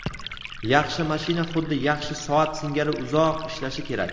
Yaxshi mashina xuddi yaxshi soat singari uzoq ishlashi kerak.